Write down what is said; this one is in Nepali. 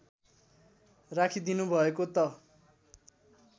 राखिदिनु भएको त